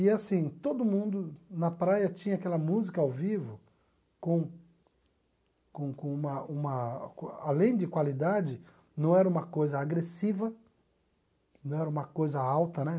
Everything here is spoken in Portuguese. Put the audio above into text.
E assim, todo mundo na praia tinha aquela música ao vivo com com com uma uma... Além de qualidade, não era uma coisa agressiva, não era uma coisa alta, né?